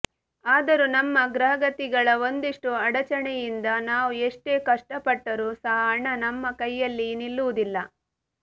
ಆದರು ನಮ್ಮ ಗ್ರಹಗತಿಗಳ ಒಂದಿಷ್ಟು ಅಡಚಣೆಯಿಂದ ನಾವು ಎಷ್ಟೇ ಕಷ್ಟ ಪಟ್ಟರು ಸಹ ಹಣ ನಮ್ಮ ಕೈಯಲ್ಲಿ ನಿಲ್ಲುವುದಿಲ್ಲ